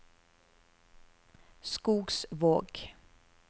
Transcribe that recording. Skogsvåg